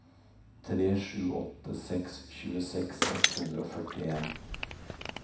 tre sju åtte seks tjueseks ett hundre og førtien